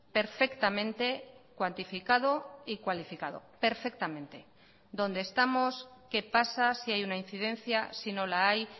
perfectamente cuantificado y cualificado perfectamente dónde estamos qué pasa si hay una incidencia si no la hay